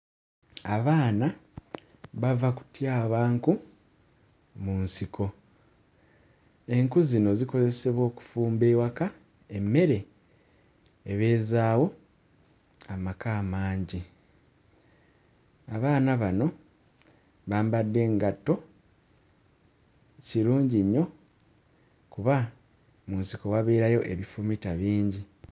Abaana bava kutyaba nku mu nsiko, enku zino zikozesebwa okufumba ewaka emmere ebeezaawo amaka amangi, abaana bano bambadde ngatto kirungi nnyo kuba mu nsiko wabeerayo ebifumita bingi.